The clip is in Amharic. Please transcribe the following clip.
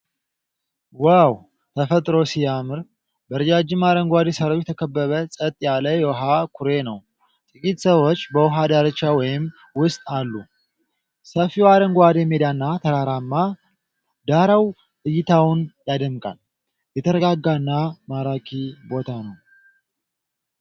ዋው! ተፈጥሮ ሲያምር! በረጃጅም አረንጓዴ ሣሮች የተከበበ ጸጥ ያለ የውሃ ኩሬ ነው ። ጥቂት ሰዎች በውሃ ዳርቻ ወይም ውስጥ አሉ። ሰፊው አረንጓዴ ሜዳና ተራራማ ዳራው እይታውን ያደምቃል!። የተረጋጋና ማራኪ ቦታ ነው!!።